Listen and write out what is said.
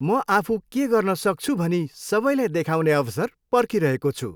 म आफू के गर्न सक्छु भनी सबैलाई देखाउने अवसर पर्खिरहेको छु।